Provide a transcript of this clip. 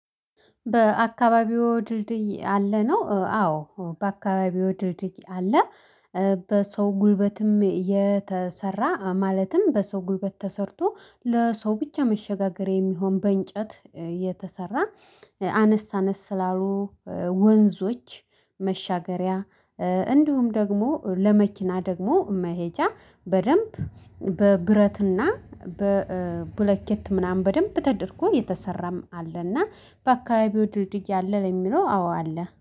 በአካባቢው ድርድይ አለ? ነው አዎ በአካባቢው ድርድይ አለ። በሰው ጉልበትም የተሰራ ማለትም በሰው ጉልበት ተሰርቶ ለሰው ብቻ መሸጋገሪያ የሚሆን በእንጨት የተሰራ አነስ አነስ ላሉ ወንዞች መሻገሪያ እንዲሁም ደግሞ ለመኪና ደግሞ መሄጃ በደንብ በብረትና በብሎኬት ምናምን በደንብ ተደርጎ የተሰራም አለና በአካባቢው ድርጅት ያለ የሚለው አዎ አለ።